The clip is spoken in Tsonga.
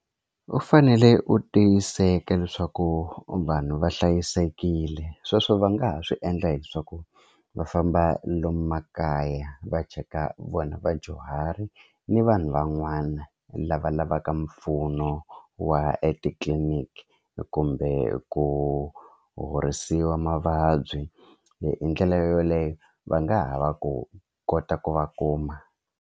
U fanele u tiyiseka leswaku vanhu va hlayisekile sweswo va nga ha swi endla hi swa ku va famba lomu makaya va cheka vona vadyuhari ni vanhu van'wana lava lavaka mpfuno wa etitliliniki kumbe ku horisiwa mavabyi hi ndlela yoleyo va nga ha va ku kota ku va kuma.